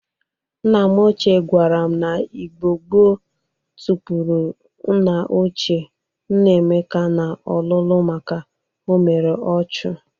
Nna m ochie gwara m na Igbo gboo tukpuru nna ochie nna Emeka n'olulu maka o mere ọchụ.